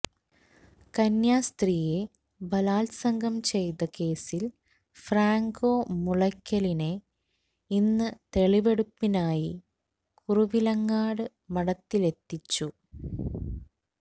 കന്യാസ്ത്രീയെ ബലാത്സംഗം ചെയ്ത കേസിൽ ഫ്രാങ്കോ മുളയ്ക്കലിനെ ഇന്ന് തെളിവെടുപ്പിനായി കുറുവിലങ്ങാട് മഠത്തിലെത്തിച്ചു